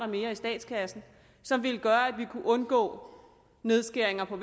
mere i statskassen som ville gøre at vi kunne undgå nedskæringer på